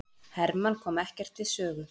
Hermann kom ekkert við sögu